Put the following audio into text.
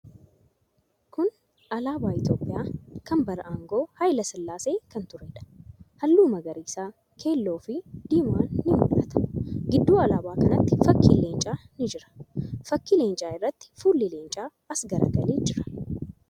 Kuni alaabaa Itiyoophiyyaa kan bara aangoo Hayila Sillaasee kan tureedha. Haalluu magariisa, keelloo fi diiman ni mul'ata. Gidduu alaabaa kanaatti fakkiin Leencaa ni jira. Fakkii Leencaa irratti fuulli Leencaa as garagalee jira.